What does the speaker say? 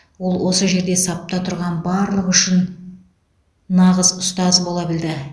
ол осы жерде сапта тұрған барлығы үшін нағыз ұстаз бола білді